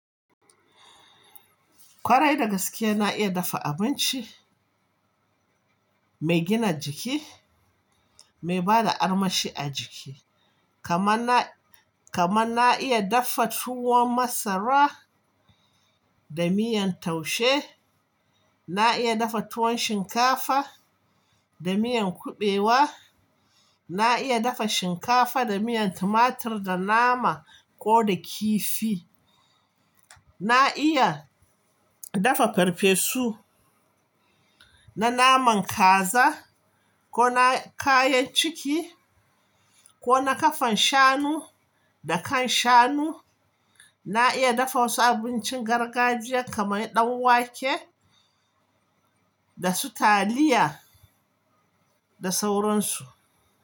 Kwarai da gaske na iya dafa abinci mai gina jiki, mai bada armashi a jiki kaman na, kaman na iya dafa tuwon masara da miyan taushe, na iya dafa tuwon shinkafa da miyan kuɓewa, na iya dafa shinkafa da miyan tumatur da nama ko da kifi. Na iya dafa farfesu na naman kaza ko na kayan ciki ko na ƙafan shanu da kan shanu. Na iya dafa wasu abincin gargajiya kaman ɗan wake da su taliya da sauransu.